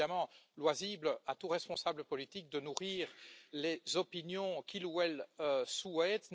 Il est évidemment loisible à tout responsable politique de nourrir les opinions qu'il ou elle souhaite.